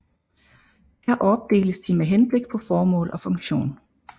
Her opdeles de med henblik på formål og funktion